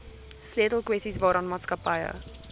sleutelkwessies waaraan maatskappye